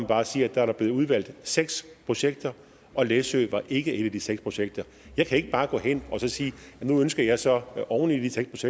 bare sige at der er blevet udvalgt seks projekter og læsø var ikke et af de seks projekter jeg kan ikke bare gå hen og sige at nu ønsker jeg så oven i de seks